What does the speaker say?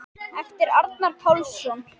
eftir Arnar Pálsson